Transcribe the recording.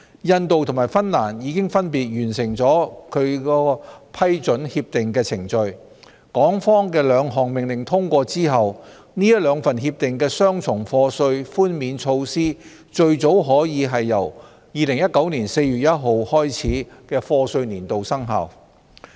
印度和芬蘭已分別完成其批准協定的程序，港方的兩項命令通過後，這兩份協定的雙重課稅寬免措施最早可由2019年4月1日開始的課稅年度生效。